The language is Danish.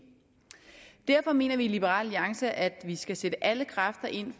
derfor mener vi i liberal alliance at vi skal sætte alle kræfter ind